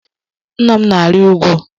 Nna m na-arị úgwú.